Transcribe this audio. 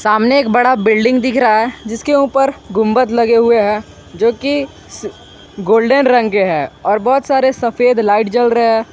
सामने एक बड़ा बिल्डिंग दिख रहा है जिसके ऊपर गुंबद लगे हुए हैं जो की गोल्डन रंग है और बहुत सारे सफेद लाइट जल रहे हैं।